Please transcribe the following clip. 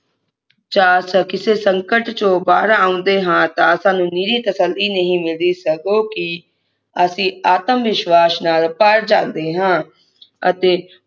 ਕਿਸੇ ਸੰਕਟ ਚੋ ਬਾਹਰ ਆਉਂਦੇ ਹਾਂ ਤਾਂ ਸਾਨੂੰ ਨਿਰੀ ਤਸੱਲੀ ਨਹੀਂ ਮਿਲਦੀ ਸਗੋਂ ਕਿ ਅਸੀਂ ਆਤਮ ਵਿਸ਼ਵਾਸ ਨਾਲ ਭਰ ਜਾਂਦੇ ਹਾਂ ਅਤੇ